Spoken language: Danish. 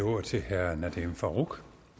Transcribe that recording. ordet til herre nadeem farooq